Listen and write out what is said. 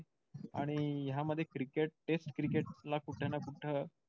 आणि ह्या मध्ये cricket test cricket ला कुठं ना कुठं